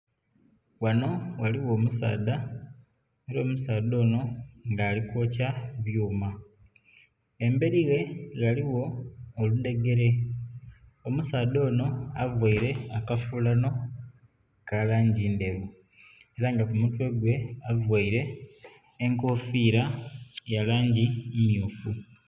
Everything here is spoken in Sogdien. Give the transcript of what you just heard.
Ghano ghaligho omusaadha aye omusaadha ono nga ali kwokya byuma. Emberi ghe ghaligho oludhegere, omusaadha ono avaire akafulano ka langi ndheru, ela nga ku mutwe gwe availe enkofiira ya langi mmyufu.